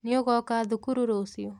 Nĩũgoka thukuru rũciũ?